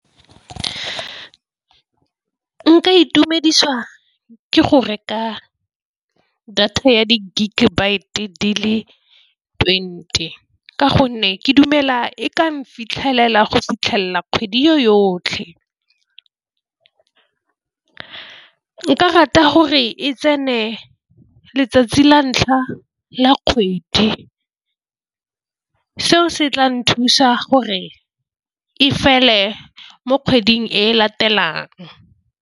Nka itumedisa ke go reka data ya di-gigabyte di le twenty ka gonne ke dumela e ka mfitlhelela go fitlhelela kgwedi yotlhe. Nka rata gore e tsene letsatsi la ntlha la kgwedi, seo se tla nthusa gore e fele mo kgweding e latelang.